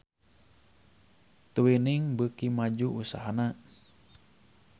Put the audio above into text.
Twinings beuki maju usahana